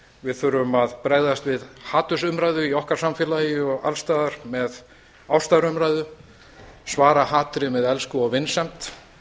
við þurfum að bregðast við hatursumræðu í okkar samfélagi og alls staðar með ástarumræðu svara hatri með elsku og vinsemd